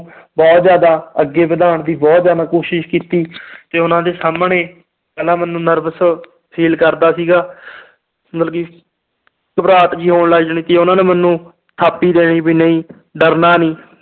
ਬਹੁਤ ਜ਼ਿਆਦਾ ਅੱਗੇ ਵਧਾਉਣ ਦੀ ਬਹੁਤ ਜ਼ਿਆਦਾ ਕੋਸ਼ਿਸ਼ ਕੀਤੀ ਤੇ ਉਹਨਾਂ ਦੇ ਸਾਹਮਣੇ ਪਹਿਲਾਂ ਮੈਨੂੰ nervous feel ਕਰਦਾ ਸੀਗਾ ਮਤਲਬ ਕਿ ਘਬਰਾਹਟ ਜਿਹੀ ਹੋਣ ਲੱਗ ਜਾਣੀ ਕਿ ਉਹਨਾਂ ਨੇ ਮੈਨੂੰ ਥਾਪੀ ਦੇਣੀ ਵੀ ਨਹੀਂ ਡਰਨਾ ਨੀ